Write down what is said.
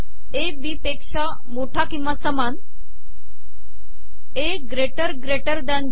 ए B पेका मोठा िकवा समान ए गेटर दॅन बी